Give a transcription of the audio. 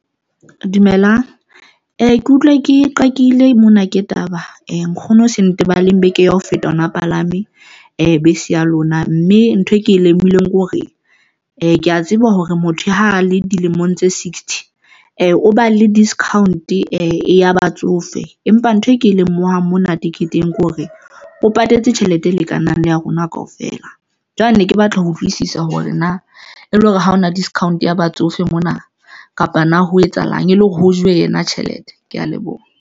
Dumelang ee ke utlwa ke qakeile mona ke taba e nkgono se ntebelleng beke ya ho feta hona palame bese ya lona, mme ntho e ke lemohile hore ee ke ya tseba hore motho ha a le dilemong tse sixty e o ba le discount e ya batsofe, empa ntho e ke e lemohang mona teketeng Kore o patetse tjhelete e lekanang le ya rona kaofela. Jwale ne ke batla ho utlwisisa hore na e le hore ha hona discount ya batsofe mona, kapa na ho etsahalang e le hore ho jowe yena tjhelete? Kea leboha.